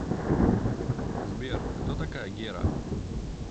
сбер кто такая гера